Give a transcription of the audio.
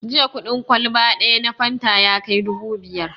Jiya kuɗin kwalba ɗaya na fanta ya kai dubu biyar